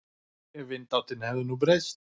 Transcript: Ef vindáttin hefði nú breyst.